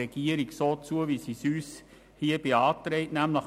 Wir stimmen dem Antrag der Regierung zu: